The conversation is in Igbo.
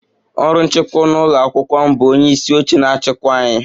Ọrụ nchịkwa n'ụlọ akwụkwọ m bu onye isi oche na-achịkwa ya